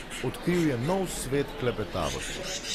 Odkril je nov svet klepetavosti.